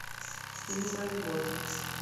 фильм про любовь